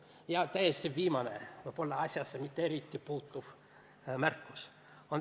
Ja nüüd viimane, võib-olla asjasse mitte puutuv märkus.